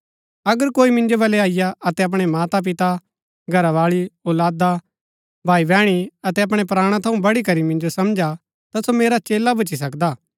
अगर कोई मिन्जो बल्लै अईआ अतै अपणै माता पिता घरावाळी औलादा भाईबैहणी अतै अपणै प्राणा थऊँ वढीकरी मिन्जो समझा ता सो मेरा चेला भुच्‍ची सकदा हा